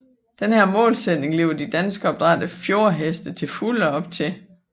Denne målsætning lever de danskopdrættede fjordheste til fulde op til